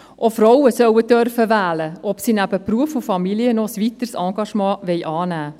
Auch Frauen sollen wählen dürfen, ob sie neben Beruf und Familie noch ein weiteres Engagement annehmen wollen.